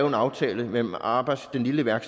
en aftale mellem arbejdsgiveren